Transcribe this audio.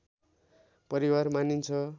परिवार मानिन्छ